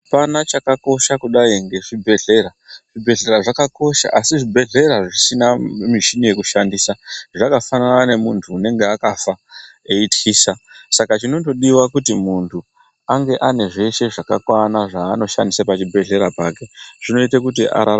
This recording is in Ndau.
Apana chaka kosha kudai nge zvibhedhlera zvibhedhlera zvakakosha asi zvibhedhlera zvisina mishini yeku shandisa zvakafanana ne muntu unenge akafa eityisa saka chinondo diwa kuti muntu ange ane zveshe zvakakwana zvaaano shandise pa chibhedhleya pake zvinoite kuti ararame.